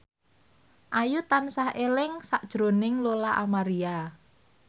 Ayu tansah eling sakjroning Lola Amaria